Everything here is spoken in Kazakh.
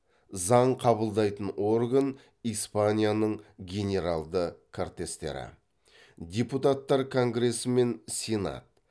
заң қабылдайтын орган испанияның генералды кортестері депутаттар конгресі мен сенат